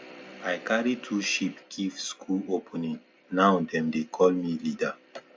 i carry two sheep give school opening now dem dey call me leader